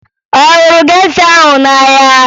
Ọ hụrụ gesha ahụ n'ahịa?